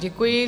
Děkuji.